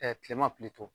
kilema